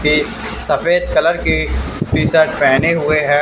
किस सफेद कलर के टी शर्ट पहने हुए हैं।